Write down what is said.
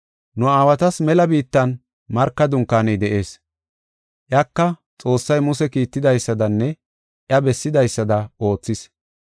“Nu aawatas mela biittan marka dunkaaney de7ees. Iyaka Xoossay Muse kiittidaysadanne iya bessidaysada oothis.